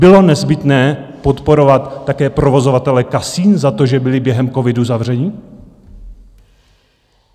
Bylo nezbytné podporovat také provozovatele kasin za to, že byli během covidu zavření?